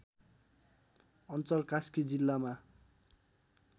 अञ्चल कास्की जिल्लामा